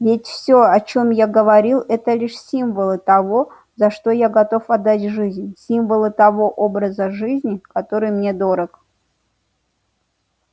ведь всё о чём я говорил это лишь символы того за что я готов отдать жизнь символы того образа жизни который мне дорог